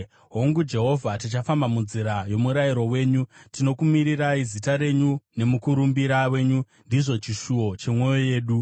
Hongu, Jehovha tichifamba munzira yomurayiro wenyu, tinokumirirai; zita renyu nemukurumbira wenyu ndizvo chishuwo chemwoyo yedu.